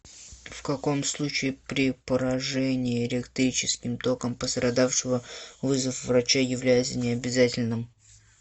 в каком случае при поражении электрическим током пострадавшего вызов врача является необязательным